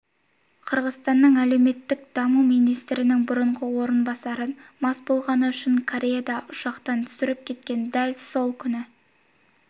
қырғызстанның әлеуметтік даму министрінің бұрынғы орынбасарын мас болғаны үшін кореяда ұшақтан түсіріп кеткен дәл сол күні